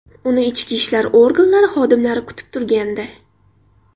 Uni ichki ishlar organlari xodimlari kutib turgandi.